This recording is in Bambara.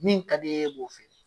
Min ka d'i y'e b'o fɛ.